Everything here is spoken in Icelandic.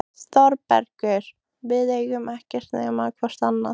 ÞÓRBERGUR: Við eigum ekkert nema hvort annað.